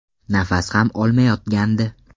Nafas ham olmayotgandi.